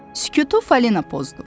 Sükutu Falina pozdu.